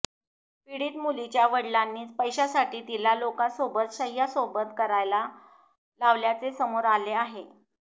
पीडित मुलीच्या वडिलांनीच पैशांसाठी तिला लोकांसोबत शैय्यासोबत करायला लावल्याचे समोर आले आहे